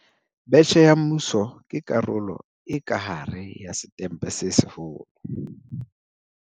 Betjhe ya Mmuso ke karolo e ka hare ya Setempe se Seholo.